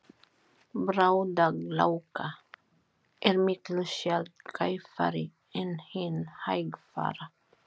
Bráðagláka er miklu sjaldgæfari en hin hægfara.